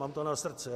Mám to na srdci.